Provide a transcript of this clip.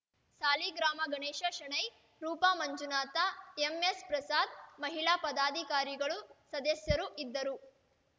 ಸಾಲಿಗ್ರಾಮ ಗಣೇಶ ಶೆಣೈ ರೂಪಾ ಮಂಜುನಾಥ ಎಂಎಸ್‌ಪ್ರಸಾದ ಮಹಿಳಾ ಪದಾಧಿಕಾರಿಗಳು ಸದಸ್ಯರು ಇದ್ದರು